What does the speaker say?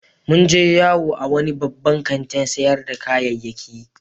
Mun je yawo a wani babban kantin sayar da kayyaki.